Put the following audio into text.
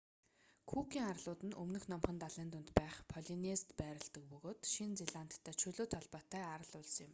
күүкийн арлууд нь өмнөд номхон далайн дунд байх полинезид байрладаг бөгөөд шинэ зеландтай чөлөөт холбоотой арал улс юм